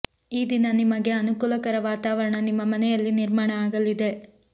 ಈ ದಿನ ನಿಮಗೆ ಅನುಕೂಲಕರ ವಾತಾವರಣ ನಿಮ್ಮ ಮನೆಯಲ್ಲಿ ನಿರ್ಮಾಣ ಆಗಲಿದೆ